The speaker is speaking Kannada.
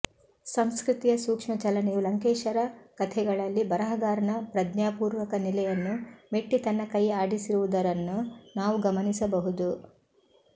ಸಂಸ್ಕೃತಿಯ ಸೂಕ್ಷ್ಮ ಚಲನೆಯು ಲಂಕೇಶರ ಕಥೆಗಳಲ್ಲಿ ಬರಹಗಾರನ ಪ್ರಜ್ಞಾಪೂರ್ವಕ ನೆಲೆಯನ್ನು ಮೆಟ್ಟಿ ತನ್ನ ಕೈ ಆಡಿಸಿರುವುದರನ್ನು ನಾವು ಗಮನಿಸ ಬಹುದು